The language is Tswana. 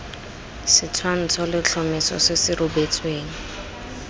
setshwantsho letlhomeso se se rebotsweng